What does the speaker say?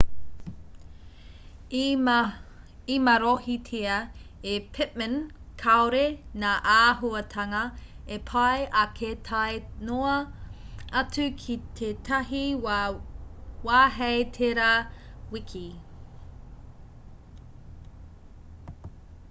i marohitia e pittman kāore ngā āhuatanga e pai ake tae noa atu ki tētahi wā hei tērā wiki